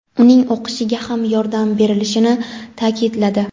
uning o‘qishiga ham yordam berilishini ta’kidladi.